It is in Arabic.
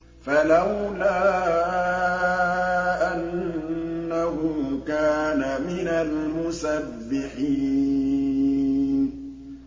فَلَوْلَا أَنَّهُ كَانَ مِنَ الْمُسَبِّحِينَ